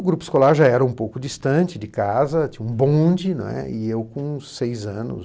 O grupo escolar já era um pouco distante de casa, tinha um bonde, né, e eu com seis anos